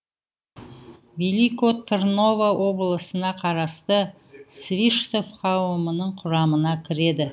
велико тырново облысына қарасты свиштов қауымының құрамына кіреді